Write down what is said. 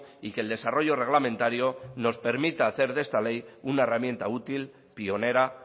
y que el desarrollo reglamentario nos permita hacer de esta ley una herramienta útil pionera